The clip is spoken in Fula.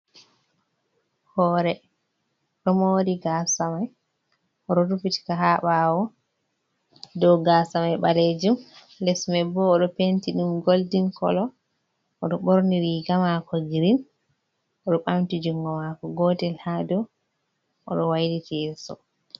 Hore ɗo mori gaasa mai, o ɗo rufiti ka ha ɓaawo. Dou gaasa mai ɓaleejum, les mai bo o ɗo penti ɗum goldin kolo. O ɗo ɓorni riga mako girin. O ɓamti jungo maako gotel ha dou, o ɗo wailiti yeso.